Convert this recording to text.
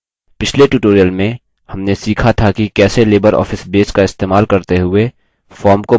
पिछले tutorial में हमने सीखा था कि कैसे libreoffice base का इस्तेमाल करते हुए form को बदलें